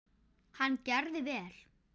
Hann gerði vel.